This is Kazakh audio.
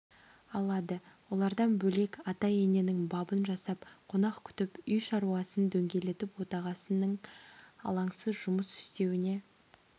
алады олардан бөлек ата-ененің бабын жасап қонақ күтіп үй шаруасын дөңгелетіп отағасының алаңсыз жұмыс істеуіне